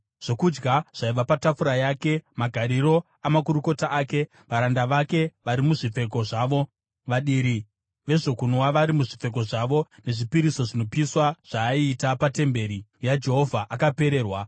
zvokudya zvaiva patafura yake, magariro amakurukota ake, varanda vake vari muzvipfeko zvavo, vadiri vezvokunwa vari muzvipfeko zvavo nezvipiriso zvinopiswa zvaaiita patemberi yaJehovha akapererwa.